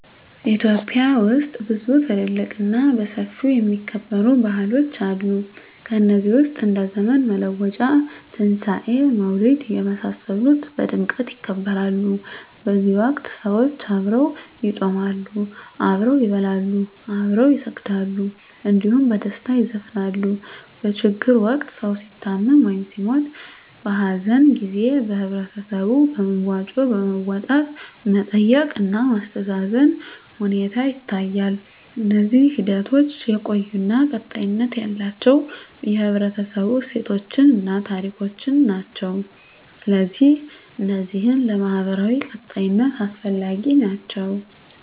ኢትዮጵያ ውስጥ ብዙ ትልልቅ እና በሰፊው የሚከበሩ ባህሎች አሉ ከነዚህ ውስጥ እንደ ዘመን መለወጫ; ትንሣኤ; መውሊድ የመሳሰሉት በድምቀት ይከበራሉ በዚህ ወቅት ሰዎች አብረው ይጾማሉ፣ አብረው ይበላሉ፣ አብረው ይሰግዳሉ እንዲሁም በደስታ ይዘፍናሉ። በችግር ወቅት ሰዉ ሲታመም ወይም ሲሞት(በሀዘን) ጊዜ በህበረተሰቡ በመዋጮ በማዋጣት መጠየቅ እና ማስተዛዘን ሁኔታ ይታያል። እነዚህ ሂደቶች የቆዩ እና ቀጣይነት ያላቸው የህብረተሰቡ እሴቶችን እና ታሪኮችን ናቸው። ስለዚህ እነዚህ ለማህበራዊ ቀጣይነት አስፈላጊ ናቸው